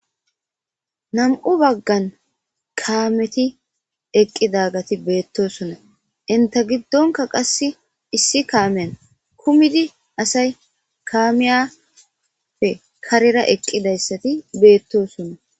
Nam'u baggan kaameti eqqidagati beettosona inta giddonka qass issi kaameyan kumidi asay kaamiyappe karera eqqidayssati beettosonna